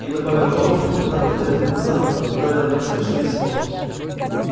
и добавил то что когда-то пять лет назад ударило меня страшнее всего